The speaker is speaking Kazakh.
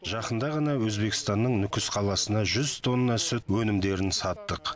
жақында ғана өзбекстанның нүкіс қаласына жүз тонна сүт өнімдерін саттық